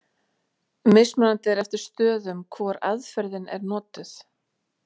Mismunandi er eftir stöðum hvor aðferðin er notuð.